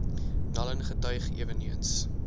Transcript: naln getuig eweneens